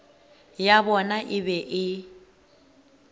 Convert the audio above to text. ya bona e be e